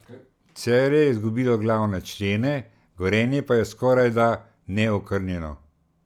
Celje je izgubilo glavne člene, Gorenje pa je skorajda neokrnjeno.